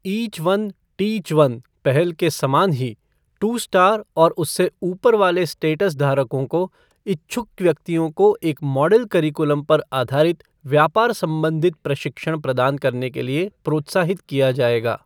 Each one, teach one पहल के समान ही, टू स्टार और उसे ऊपर वाले स्टेटस धारकों को इच्छुक व्यक्तियों को एक मॉडल करीकुलम पर आधारित व्यापार संबंधित प्रशिक्षण प्रदान करने के लिए प्रोत्साहित किया जाएगा।